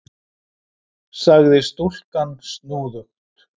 sagði stúlkan snúðugt.